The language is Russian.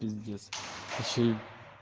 пиздец ещё